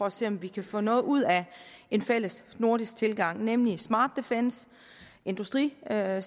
at se om vi kan få noget ud af en fælles nordisk tilgang nemlig smart defence industrisamarbejde